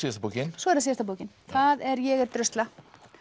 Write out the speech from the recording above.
svo er það síðasta bókin það er ég er drusla